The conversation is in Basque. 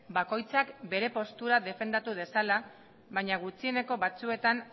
bakoitzak bere postura defendatu dezala baina gutxieneko batzuetan